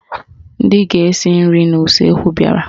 Ndị ga-esi nri n'useekwu bịara